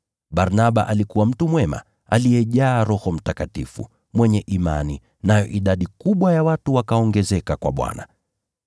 Barnaba alikuwa mtu mwema, aliyejaa Roho Mtakatifu, mwenye imani, nayo idadi kubwa ya watu wakaongezeka kwa Bwana.